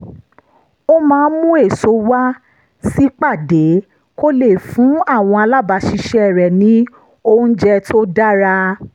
ó máa ń mú èso wá sípàdé kó lè fún àwọn alábàáṣiṣẹ́ rẹ̀ ní oúnjẹ tó dára